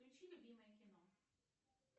включи любимое кино